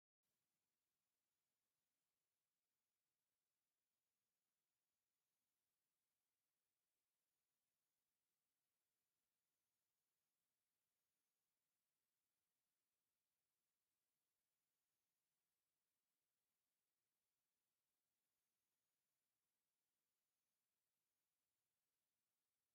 እዞም ሰባት ናብ ዝተፈላለዩ ዓድታት ብዝ|ተፈላለዩ ምክንያታት ብዘይሕጋዊ መንገዲ ንስደት ዝኾዱ እንትኾኑ ኣብቲ ዝኸድሉ ዓዲ ተታሒዞም ናብ እሱር ዝኣተዉ እዮም። እስንኹም ኸ ሰባት ብዘይ ሕጋዊ መንገዲ ናብ ስደት ንከይኸዱ ትምዕዱ ዶ?